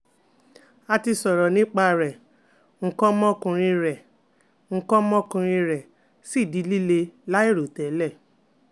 A ti sọrọ nipa rẹ nkan omokunrin re nkan omokunrin re si di lile lairotele